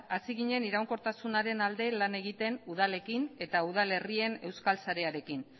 hasi ginen iraunkortasunaren alde lan egiten udalekin eta udalerrien euskal sarearekin